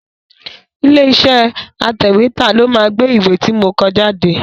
Ilé iṣẹ́ atẹ̀wétà ló máa gbé ìwé ti mo kọ jáde.